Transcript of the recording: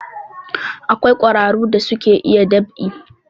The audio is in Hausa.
Akwai ƙwararu da suka iya dab'i